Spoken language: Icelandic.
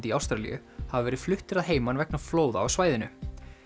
í Ástralíu hafa verið fluttir að heiman vegna flóða á svæðinu